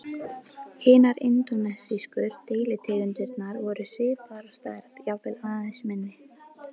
Hinar indónesísku deilitegundirnar voru svipaðar að stærð, jafnvel aðeins minni.